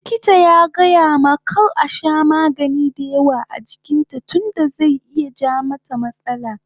Likita ya gayamata kar ta sha magani dayawa a jikin ta tunda zai iya ja mata matsala